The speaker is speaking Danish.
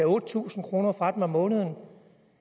otte tusind kroner fra dem om måneden